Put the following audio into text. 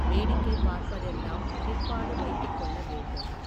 வேடிக்கை பார்ப்பதெல்லாம் பிற்பாடு வைத்துக்கொள்ள வேண்டும்.